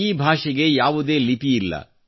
ಈ ಭಾಷೆಗೆ ಯಾವುದೇ ಲಿಪಿಯಿಲ್ಲ